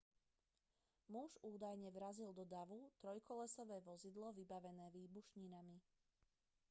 muž údajne vrazil do davu trojkolesové vozidlo vybavené výbušninami